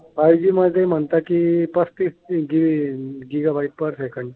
five G मध्ये म्हणतात की पस्तीस गिगा बाईट्स पर सेकंद